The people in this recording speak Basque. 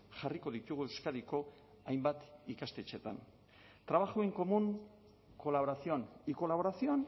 jarriko ditugu euskadiko hainbat ikastetxetan trabajo en común colaboración y colaboración